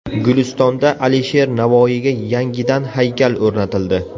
Gulistonda Alisher Navoiyga yangidan haykal o‘rnatildi.